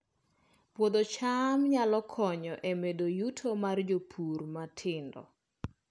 Puodho cham nyalo konyo e medo yuto mar jopur matindo